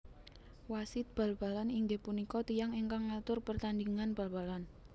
Wasit bal balan inggih punika tiyang ingkang ngatur pertandhingan bal balan